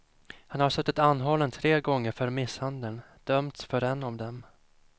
Han har suttit anhållen tre gånger för misshandel, dömts för en av dem.